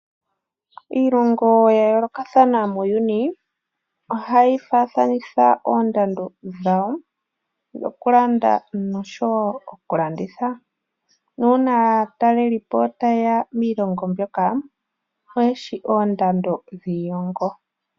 Iilongo ya yoolokathana muuyuni ohayi faathanitha oondando dhawo dhokulanda noshowo okulanditha nuuna aatalelipo ta yeya miilongo mbyoka oye shi oondando dhiilongo.